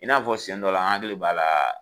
I n'a fɔ siɲɛn dɔ la, an hakili b'a la.